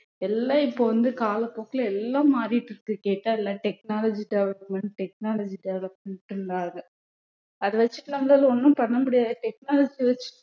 எல்லாம் இப்ப வந்து காலப்போக்குல எல்லாம் மாறிட்டு இருக்கு கேட்டா எல்லாம் technology development technology development ட்ராங்க அத வெச்சுட்டு நம்மளால ஒண்ணும் பண்ண முடியாது technology வச்சு